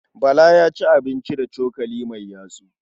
Bala ya ci abinci da cokali mai yatsu.